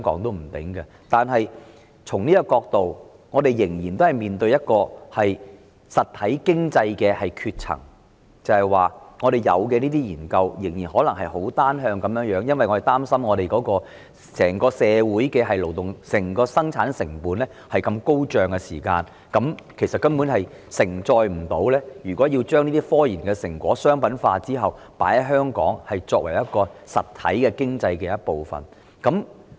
然而，從這個角度看，我們仍然面對實體經濟的斷層，便是香港進行的研究仍然很單向，因為我們擔心本地的整體生產成本如此高昂時，其實根本不能承載科研成果商品化後被納入為香港實體經濟的一部分。